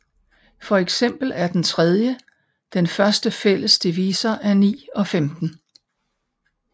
For eksempel er den 3 den største fælles divisor af 9 og 15